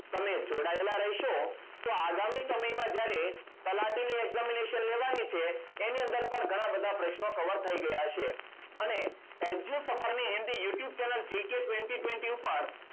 તમે જોડાયેલા રહેશો તો આગામી સમયમાં જ્યારે તલાટી ની examination લેવાની છે. એની અંદર પણ ઘણા બધા પ્રશ્નો cover થઈ ગયા હશે. અને edue suffer ની Hindi youtube channel jk twenty twenty ઉપર